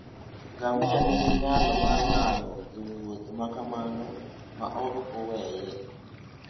Ngamia nigi nyalo mar nano e wuoth ma kamano ma ok oweye.